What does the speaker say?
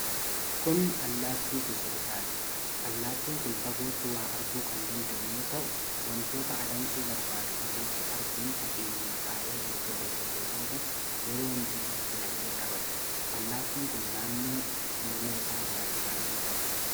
Kun allaattii gosa risaati. Allaattin kun fagootti waa arguu kan danda'u yoo ta'u, wantoota adamsuu barbaadu fagootti arguun, fageenyuma taa'ee erga hordofee booda yeroo mijataatti dhaqee qabata. Allaattiin kun naannoo morma isaarra bifa adii qaba.